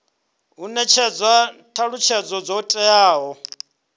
hu netshedzwa thalutshedzo dzo teaho